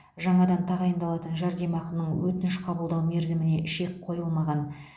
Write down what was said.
жаңадан тағайындалатын жәрдемақының өтініш қабылдау мерзіміне шек қойылмаған